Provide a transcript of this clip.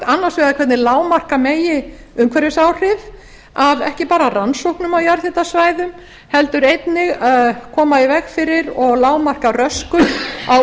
annars vegar hvernig lágmarka megi umhverfisáhrif af ekki bara rannsóknum á jarðhitasvæðum heldur einnig koma í veg fyrir og lágmarka röskun á